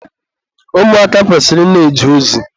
Ụmụaka kwesịrị ị na-eje ozi.